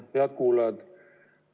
Head kuulajad!